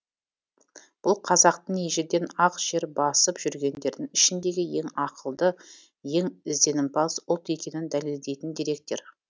бұл қазақтың ежелден ақ жер басып жүргендердің ішіндегі ең ақылды ең ізденімпаз ұлт екенін дәлелдейтін деректер